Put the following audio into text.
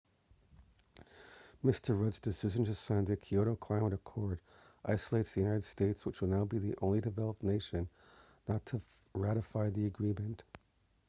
mr rudd's decision to sign the kyoto climate accord isolates the united states which will now be the only developed nation not to ratify the agreement